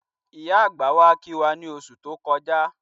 Ìyá àgbà wá kí wá ní oṣù tó kọjá